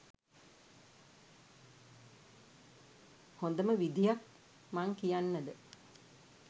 හොඳම විධියක් මං කියන්නද?